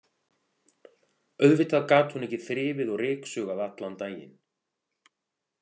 Auðvitað gat hún ekki þrifið og ryksugað allan daginn.